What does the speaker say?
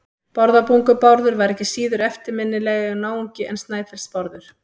Bárðarbungu-Bárður var ekki síður eftirminnilegur náungi en Snæfellsnes-Bárður.